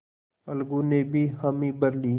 अलगू ने भी हामी भर ली